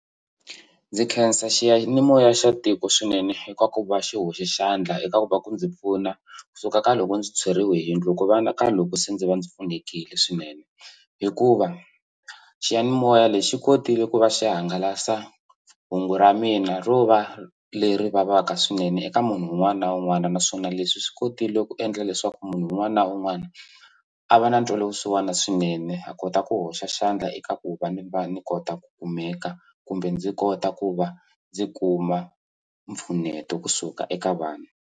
Ndzi khensa xiyanimoya xa tiko swinene eka ku va xi hoxi xandla eka ku va ku ndzi pfuna kusuka ka loko ndzi tshweriwe hi yindlu ku vonaka loko se ndzi va ndzi pfunekile swinene hikuva xiyanimoya lexi xi kotile ku va xi hangalasa hungu ra mina ro va leri vavaka swinene eka munhu un'wana na un'wana naswona leswi swi kotile ku endla leswaku munhu un'wana na un'wana a va na ntwelavusiwana swinene a kota ku hoxa xandla eka ku va ni va ni kota ku kumeka kumbe ndzi kota ku va ndzi kuma mpfuneto kusuka eka vanhu.